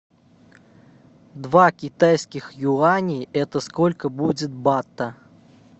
два китайских юаней это сколько будет бата